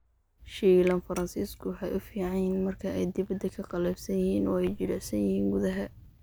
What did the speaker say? Shiilan faransiisku waxa ay u fiican yihiin marka ay dibadda ka qallafsan yihiin oo ay jilicsan yihiin gudaha.